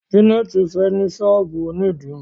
Janet fè ní sọ́ọ̀bù òní dirun.